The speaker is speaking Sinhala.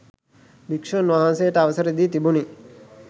භික්‍ෂූන් වහන්සේට අවසර දී තිබුණි.